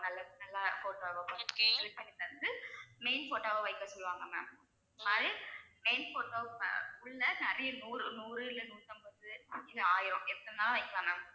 நல்லது நல்லா photo வா பார்த்து select பண்ணி தந்து main photo வா வைக்க சொல்லுவாங்க ma'am main photos உள்ளே நிறைய நூறு நூறு இல்லை நூத்தம்பது இல்ல ஆயிரம் எத்தனை வேணாலும் வெக்கலாம் ma'am